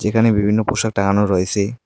এখানে বিভিন্ন পোশাক টাঙানো রয়েছে।